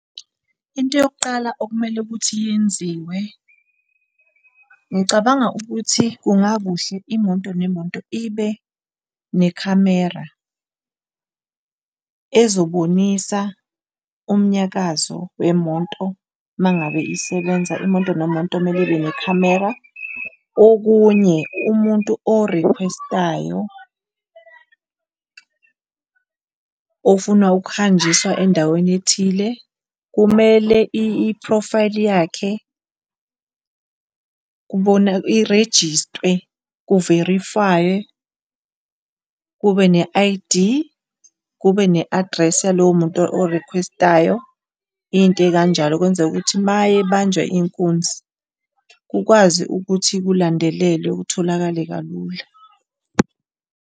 Into yokuqala okumele ukuthi yenziwe ngicabanga ukuthi kungakuhle imoto nemoto ibe nekhamera ezobonisa umnyakazo wemoto uma ngabe isebenza, imoto nemoto kumele ibe nekhamera. Okunye umuntu orikhwestayo ofuna ukuhanjiswa endaweni ethile kumele iphrofayili yakhe irejistiwe ku-verify-iwe kube ne-I_D, kube ne-address yalowo muntu orikhwestayo, izinto ezikanjalo kwenzele ukuthi mayebanjwa inkunzi kukwazi ukuthi kulandelelwe kutholakale kalula.